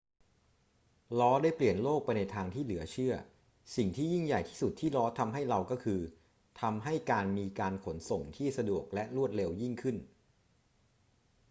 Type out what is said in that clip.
ล้อได้เปลี่ยนโลกไปในทางที่เหลือเชื่อ สิ่งที่ยิ่งใหญ่ที่สุดที่ล้อทำให้เราก็คือ ทำให้การมีการขนส่งที่สะดวกและรวดเร็วยิ่งขึ้น